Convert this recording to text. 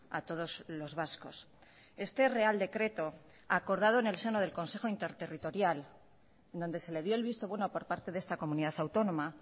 a todos los vascos este real decreto acordado en el seno del consejo interterritorial donde se le dio el visto bueno por parte de esta comunidad autónoma